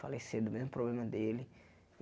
Faleceram do mesmo problema dele.